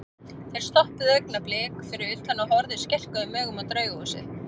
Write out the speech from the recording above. Þeir stoppuðu augnablik fyrir utan og horfðu skelkuðum augum á Draugahúsið.